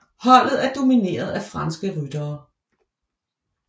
Holdet er domineret af franske ryttere